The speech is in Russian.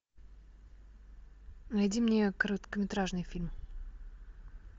найди мне короткометражный фильм